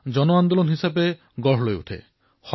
এক জন আন্দোলনলৈ পৰিৱৰ্তিত কৰক